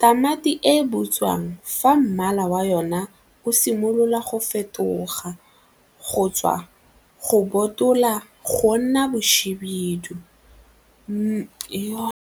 tamati e butswang fa mmala wa yona o simolola go fetoga go tswa go botoka go nna bohibidu .